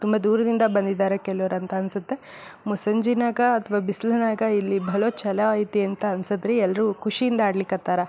ತುಂಬಾ ದೂರದಿಂದ ಬಂದಿದ್ದಾರೆ ಕೆಲವ್ರು ಅಂತ ಅನ್ಸುತ್ತೆ ಮುಸ್ಸಂಜೆನಂಗ ಅಥವಾ ಬಿಸಿಲಿನ್ಯಾಗ ಇಲ್ಲಿ ಬಲೋ ಚಲೋ ಅಯ್ತೆ ಅಂತ ಅನ್ಸುತ್ತೆ ರೀ ಎಲ್ರು ಖುಷಿ ಇಂದ ಅಡ್ಲಿಕ್ ಹತ್ತರ